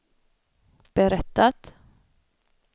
berättat